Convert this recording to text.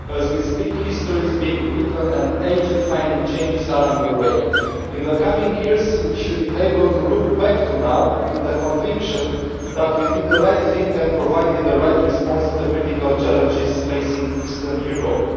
Madam President, as we speak history is being written and age defining changes are under way. In the coming years, we should be able to look back to now with the conviction that we did the right thing and provided the right response to the critical challenges facing Eastern Europe.